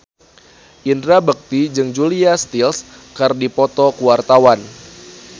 Indra Bekti jeung Julia Stiles keur dipoto ku wartawan